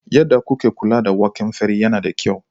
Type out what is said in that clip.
Yadda kuke kula da waken fari yana da kyau.